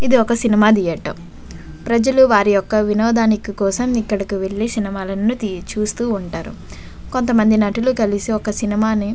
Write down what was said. ఇది ఒక cinema theatre . ప్రజలు వారి యొక్క వినోదానికి కోసం ఇక్కడికి వెళ్లి సినిమాల ను చూస్తూ ఉంటారు. కొంతమంది నటులు కలిసి ఒక సినిమా ని --